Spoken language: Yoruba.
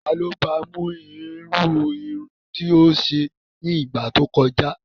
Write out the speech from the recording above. Ta ló ba mú irú irun tí ó ṣe ní ìgbà tí ó kọjá?